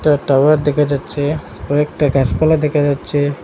একটা টাওয়ার দেখা যাচ্ছে কয়েকটা গাছপালা দেখা যাচ্ছে।